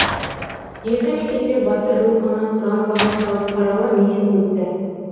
елді мекенде батыр рухына құран бағышталып қаралы митинг өтті